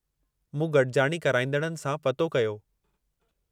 मूं गॾिजाणी कराइंदड़नि सां पतो कयो।